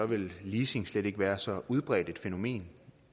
ville leasing slet ikke være så udbredt et fænomen